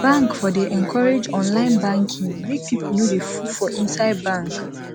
bank for dey encourage online banking make pipu no dey full for inside bank